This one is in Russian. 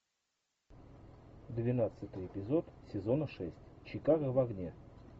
двенадцатый эпизод сезона шесть чикаго в огне